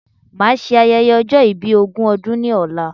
Màa ṣe ayẹyẹ ọjọ́ ìbí ogún ọdún ni ọ̀la